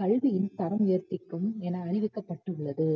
கல்வியும் தரம் என அறிவிக்கபட்டுள்ளது